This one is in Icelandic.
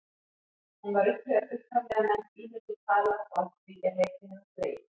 hún var upphaflega nefnd ímynduð tala og af því er heiti hennar dregið